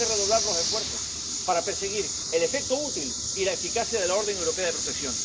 Tenemos que redoblar los esfuerzos para perseguir el efecto útil y la eficacia de la orden europea de protección.